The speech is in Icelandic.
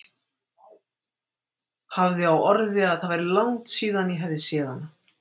Hafði á orði að það væri langt síðan ég hefði séð hana.